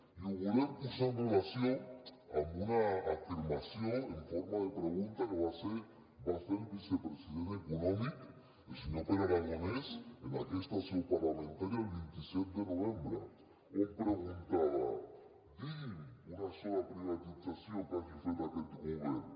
i ho volem posar en relació amb una afirmació en forma de pregunta que va fer el vicepresident econòmic el senyor pere aragonès en aquesta seu parlamentària el vint set de novembre on preguntava digui’m una sola privatització que hagi fet aquest govern